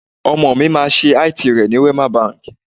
Ọmọ mi máa ṣe IT rẹ ní Wema Bank.